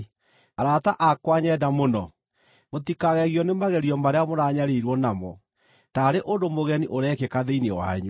Arata akwa nyenda mũno, mũtikagegio nĩ magerio marĩa mũranyariirwo namo, taarĩ ũndũ mũgeni ũrekĩka thĩinĩ wanyu.